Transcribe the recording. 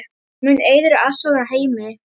Mun Eiður aðstoða Heimi?